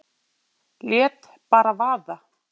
Lét bara vaða.